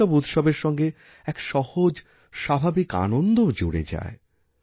এই সবউৎসবের সঙ্গে এক সহজ স্বাভাবিক আনন্দও মিশে থাকে